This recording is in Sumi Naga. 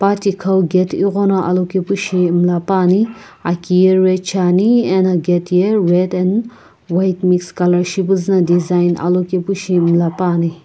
patikhau gate ighono alokepushi mla puani aki ye red shiani ena gate ye red and white mix colour shipuzu design alokepushi mla puani.